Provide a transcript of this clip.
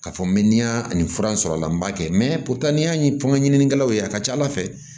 K'a fɔ n bɛ miliyɔn ani fura sɔrɔ a la n b'a kɛ n'i y'a ye fɔ n ka ɲininikɛlaw ye a ka ca ala fɛ